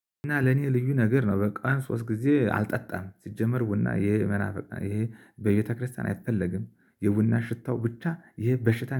እና ለኔ ልዩ ነገር ነው። በቀን ሶስት ጊዜ አልጠጣም ሲጀመር ቡና ይሄ መናፍቅ ይሄ በቤተክርስቲያን አይፈለግም የቡናው ሽታው ብቻ ይሄ በሽታ